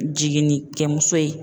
Jiginnikɛmuso ye.